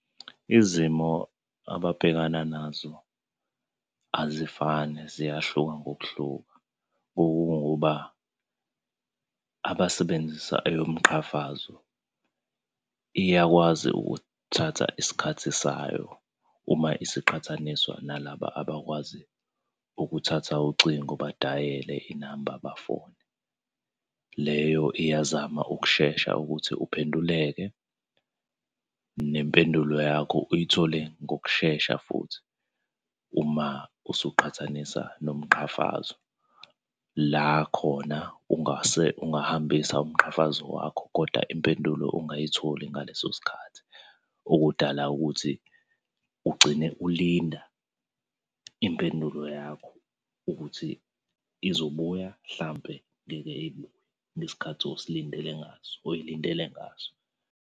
Izimo ababhekana nazo azifani ziyahluka ngokuhluka, okungukuba abasebenzisa eyomqhafazo, iyakwazi ukuthatha isikhathi sayo uma isiqhathaniswa nalaba abakwazi ukuthatha ucingo badayele inamba bafone. Leyo iyazama ukushesha ukuthi uphenduleke, nempendulo yakho uyithole ngokushesha futhi uma usuqhathanisa nomqhafazo. La khona ungahambisa umqhafazo wakho koda impendulo ungayitholi ngaleso sikhathi. Okudala ukuthi ugcine ulinda impendulo yakho ukuthi izobuya hlampe ngeke ngesikhathi osilindele ngaso, oyilindele ngaso.